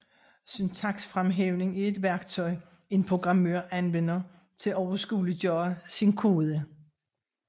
Syntaksfremhævning er et værktøj en programmør anvender til at overskueliggøre sin kode